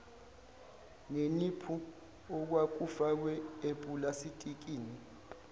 neniphu okwakufakwe epulastikini